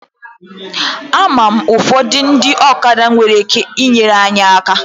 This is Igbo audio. Ama m ụfọdụ ndị ọkada nwere ike inyere anyị aka.